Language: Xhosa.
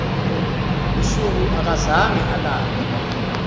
busuku akazange alale